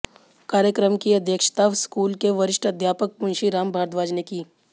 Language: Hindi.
कार्यक्रम की अध्यक्षता स्कूल के वरिष्ठ अध्यापक मुंशी राम भारद्वाज ने की